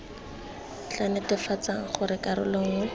tla netefatsang gore karolo nngwe